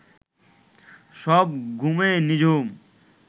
সব ঘুমে নিঝুম